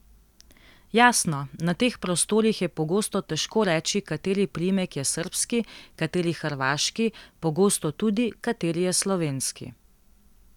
Jasno, na teh prostorih je pogosto težko reči, kateri priimek je srbski, kateri hrvaški, pogosto tudi, kateri je slovenski.